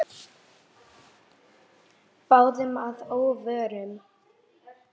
Báðum að óvörum.